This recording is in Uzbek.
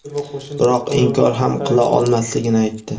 biroq inkor ham qila olmasligini aytdi.